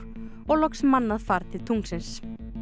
og loks mannað far til tunglsins